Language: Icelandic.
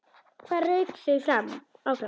Hvað rak þau áfram?